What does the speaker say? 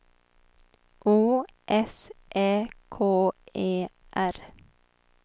O S Ä K E R